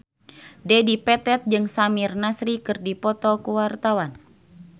Dedi Petet jeung Samir Nasri keur dipoto ku wartawan